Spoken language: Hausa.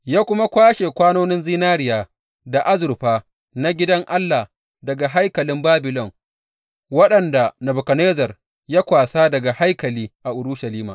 Ya kuma kwashe kwanonin zinariya da azurfa na gidan Allah daga haikalin Babilon waɗanda Nebukadnezzar ya kwasa daga haikali a Urushalima.